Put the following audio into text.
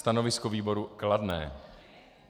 Stanovisko výboru - kladné.